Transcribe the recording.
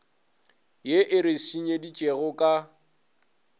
ye e re senyeditšego ka